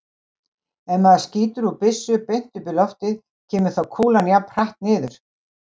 Ef maður skýtur úr byssu beint upp í loftið, kemur þá kúlan jafn hratt niður?